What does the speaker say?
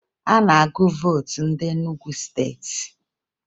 A na-agụ vootu ndị Enugu Steeti